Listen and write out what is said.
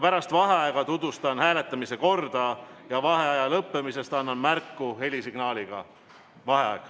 Pärast vaheaega tutvustan hääletamise korda ja vaheaja lõppemisest annan märku helisignaaliga.